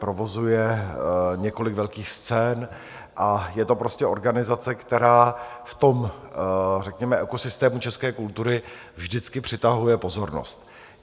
Provozuje několik velkých scén a je to prostě organizace, která v tom řekněme ekosystému české kultury vždycky přitahuje pozornost.